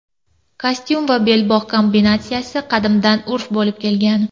Kostyum va belbog‘ kombinatsiyasi qadimdan urf bo‘lib kelgan.